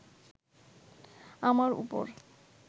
আমার ওপর